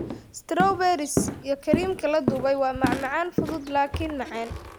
Strawberries iyo kareemka la dubay waa macmacaan fudud laakiin macaan.